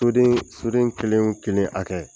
Soden soden kelen o kelen a hakɛ.